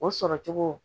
O sɔrɔcogo